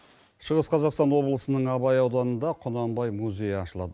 шығыс қазақстан облысының абай ауданында құнанбай музейі ашылады